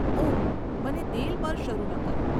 ઓહ, મને તેલ પર શરૂ ન કરો.